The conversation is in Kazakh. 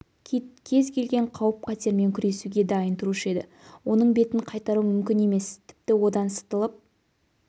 кит кез келген қауіп-қатермен күресуге дайын тұрушы еді оның бетін қайтару мүмкін емес тіпті одан сытылып